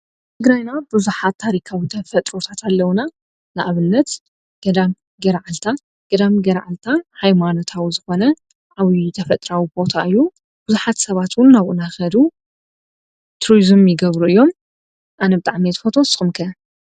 እግራይና ብዙኃት ታሪካዊ ተፈጥሮታት ኣለዉና ንኣብልነት ገዳም ገረዓልታ ገዳም ገርዓልታ ኃይማኖታዊ ዝኾነ ኣውዪዪ ተፈጥራዊ ጶታ እዩ ብዙኃት ሰባትን ናብኡናኸዱ ትርዝም ይገብሩ እዮም ኣነብጣዕሜት ፈቶስ ኹምከ።